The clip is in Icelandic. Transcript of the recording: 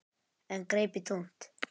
En greip í tómt.